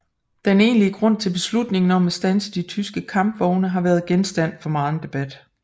Den egentlige grund til beslutningen om at standse de tyske kampvogne har været genstand for megen debat